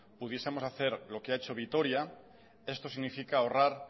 pudiesemos hacer lo que ha hecho vitoria esto significa ahorrar